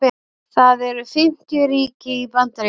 það eru fimmtíu ríki í bandaríkjunum